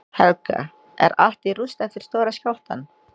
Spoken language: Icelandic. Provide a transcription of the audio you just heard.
Helga: Er allt í rúst eftir stóra skjálftann?